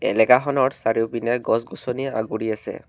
এলেকাখনৰ চাৰিওপিনে গছ-গছনিয়ে আগুৰি আছে।